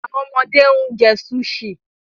Awọn ọmọde n jẹ Sushi